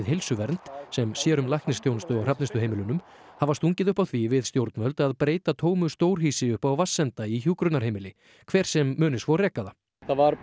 Heilsuvernd sem sér um læknisþjónustu á Hrafnistuheimilunum hafa stungið upp á því við stjórnvöld að breyta tómu stórhýsi uppi við Vatnsenda í hjúkrunarheimili hver sem muni svo reka það það var